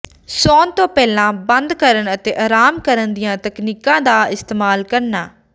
ਸੌਣ ਤੋਂ ਪਹਿਲਾਂ ਬੰਦ ਕਰਨ ਅਤੇ ਆਰਾਮ ਕਰਨ ਦੀਆਂ ਤਕਨੀਕਾਂ ਦਾ ਇਸਤੇਮਾਲ ਕਰਨਾ